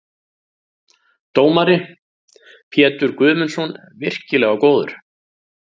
Dómari: Pétur Guðmundsson- virkilega góður.